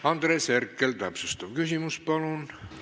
Andres Herkel, täpsustav küsimus, palun!